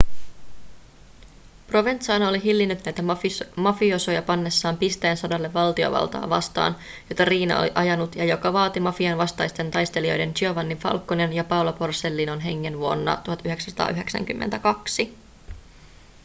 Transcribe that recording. provenzano oli hillinnyt näitä mafiosoja pannessaan pisteen sodalle valtiovaltaa vastaan jota riina oli ajanut ja joka vaati mafian vastaisten taistelijoiden giovanni falconen ja paolo borsellinon hengen vuonna 1992